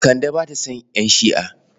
Kande ba ta son ƴan Shi'a.